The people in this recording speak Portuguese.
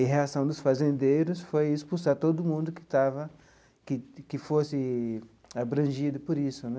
E a reação dos fazendeiros foi expulsar todo mundo que estava que que fosse abrangido por isso né.